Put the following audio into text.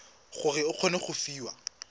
gore o kgone go fiwa